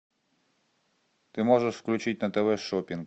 ты можешь включить на тв шоппинг